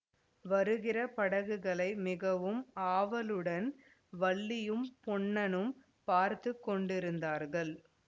வருகிற படகுகளை மிகவும் ஆவலுடன் வள்ளியும் பொன்னனும் பார்த்து கொண்டிருந்தார்கள்